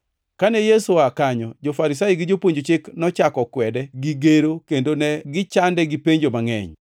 Kane Yesu oa kanyo, jo-Farisai gi Jopuonj Chik nochako kwede gi gero kendo ne gichande gi penjo mangʼeny.